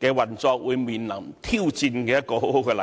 在運作上將會面對挑戰的好例子。